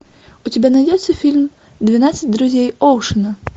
у тебя найдется фильм двенадцать друзей оушена